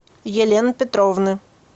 елены петровны